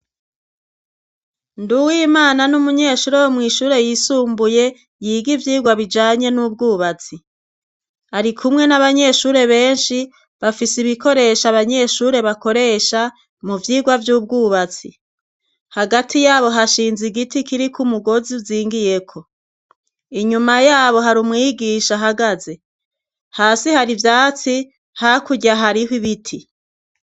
Nduwe imana n'umunyeshure wo mw'ishure yisumbuye yiga ivyirwa bijanye n'ubwubatsi ari kumwe n'abanyeshure benshi bafise ibikoresha abanyeshure bakoresha mu vyirwa vy'ubwubatsi hagati yabo hashinze igiti kiri ko umugozi zingiyeko inyuma yabo hari umwigisha ahagaze hasi hari ivyatsi hakurya hariho ibiti.